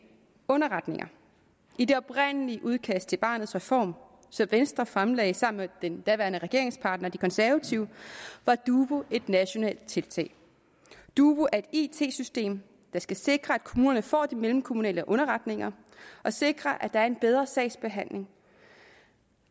underretninger i det oprindelige udkast til barnets reform som venstre fremlagde sammen med den daværende regeringspartner de konservative var dubu et nationalt tiltag dubu er et it system der skal sikre at kommunerne får mellemkommunale underretninger og sikre at der er en bedre sagsbehandling